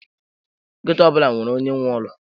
Ghetto ọ bụla nwere onye nwe ụlọ.